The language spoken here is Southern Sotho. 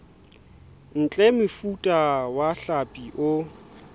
ntle mofuta wa hlapi o